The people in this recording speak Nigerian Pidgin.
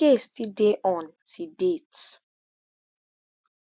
di case still dey on till date